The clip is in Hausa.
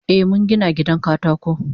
Eh mungina gidan katako.